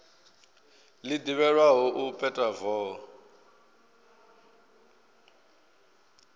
ḽi ḓivhelwaho u peta voho